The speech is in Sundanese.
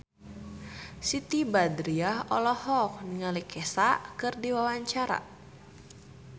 Siti Badriah olohok ningali Kesha keur diwawancara